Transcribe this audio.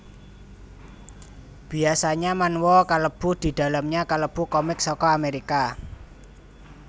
Biasanya manhwa kalebu didalamnya kalebu comic saka amerika